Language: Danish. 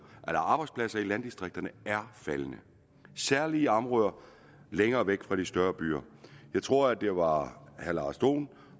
arbejdspladser i landdistrikterne er faldende særlig i områder længere væk fra de større byer jeg tror at det var herre lars dohn